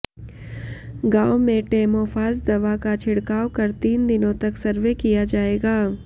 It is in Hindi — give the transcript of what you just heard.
गांव में टेमोफास दवा का छिड़काव कर तीन दिनों तक सर्वे किया जाएगा